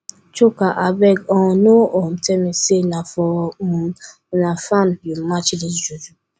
chuka abeg um no um tell me say na for um una farm you match dis juju